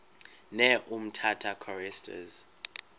ne umtata choristers